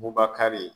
Bubakari